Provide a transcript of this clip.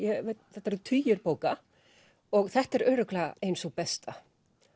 þetta eru tugir bóka þetta er örugglega ein sú besta